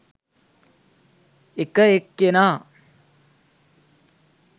එක එක්කෙනා